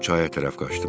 Mən çaya tərəf qaçdım.